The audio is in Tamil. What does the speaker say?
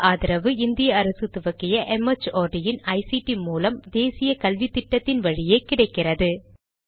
இதற்கு ஆதரவு இந்திய அரசு துவக்கிய ஐசிடி மூலம் தேசிய கல்வித்திட்டத்தின் வழியே கிடைக்கிறது